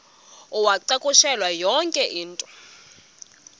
uwacakushele yonke into